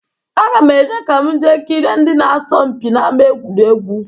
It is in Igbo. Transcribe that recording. Aga m eje ka m jee kirie ndị na-asọ mpi n'ama egwuregwu.